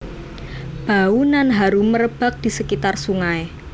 Bau nan harum merebak di sekitar sungai